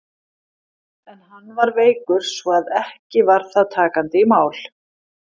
En hann var veikur, svo að ekki var það takandi í mál.